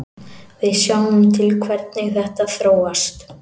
Við sjáum til hvernig þetta þróast.